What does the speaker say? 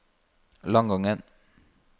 Langangen